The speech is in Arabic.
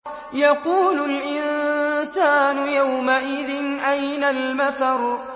يَقُولُ الْإِنسَانُ يَوْمَئِذٍ أَيْنَ الْمَفَرُّ